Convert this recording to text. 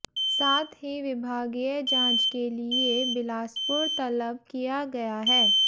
साथ ही विभागीय जांच के लिए बिलासपुर तलब किया गया है